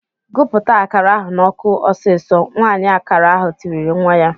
"Gụpụta akara ahụ n'ọkụ ọsịsọ!" Nwaanyị akara ahụ tirile nwa ya.